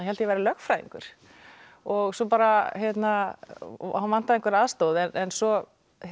ég væri lögfræðingur og svo bara hann vantaði einhverja aðstoð svo